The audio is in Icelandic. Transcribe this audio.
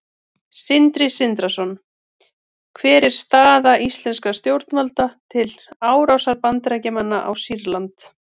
Sindri Sindrason: Hver er afstaða íslenskra stjórnvalda til árásar Bandaríkjamanna á Sýrland?